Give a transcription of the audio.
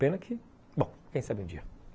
Pena que... Bom, quem sabe um dia.